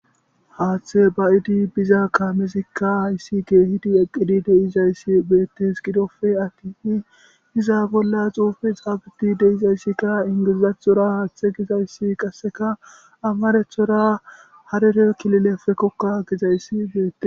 Hathe baidi bida kamezika hayisi geyidi eqidaysi betees gidoppe atin iza bolla xufe xafetidi dizayisi betees ingilazatora hathe gidi amaratora harere kilileppe koka gidayisi